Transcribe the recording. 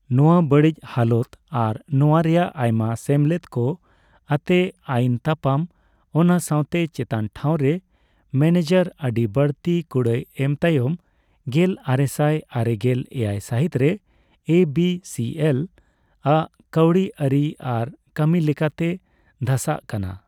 ᱱᱚᱣᱟ ᱵᱟᱲᱤᱡᱽ ᱦᱟᱞᱚᱛ ᱟᱨ ᱱᱚᱣᱟ ᱨᱮᱭᱟᱜ ᱟᱭᱢᱟ ᱥᱮᱢᱞᱮᱫ ᱠᱚ ᱟᱛᱮᱜ ᱟᱭᱤᱱ ᱛᱟᱯᱟᱢ, ᱚᱱᱟ ᱥᱟᱣᱛᱮ ᱪᱮᱛᱟᱱ ᱴᱷᱟᱣ ᱨᱮᱱ ᱢᱮᱱᱮᱡᱟᱨ ᱟᱹᱰᱤ ᱵᱟᱲᱛᱤ ᱠᱩᱲᱟᱹᱭ ᱮᱢ ᱛᱟᱭᱚᱢ ᱜᱮᱞ ᱟᱨᱮᱥᱟᱭ ᱟᱨᱮᱜᱮᱞ ᱮᱭᱟᱭ ᱥᱟᱦᱤᱛ ᱨᱮ ᱮᱹ ᱵᱤᱹ ᱥᱤᱹ ᱮᱞᱹ ᱟᱜ ᱠᱟᱹᱣᱰᱤ ᱟᱹᱨᱤ ᱟᱨ ᱠᱟᱢᱤ ᱞᱮᱠᱟᱛᱮ ᱫᱷᱟᱥᱟᱜ ᱠᱟᱱᱟ ᱾